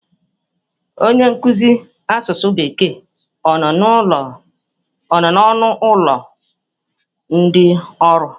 Onye nkuzi asụsụ Bekee ọ nọ n'ọnụ ụlọ ndị ọrụ?